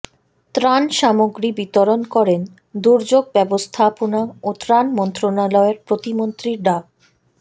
ত্রাণ সামগ্রী বিতরণ করেন দুর্যোগ ব্যবস্থাপনা ও ত্রাণ মন্ত্রণালয়ের প্রতিমন্ত্রী ডা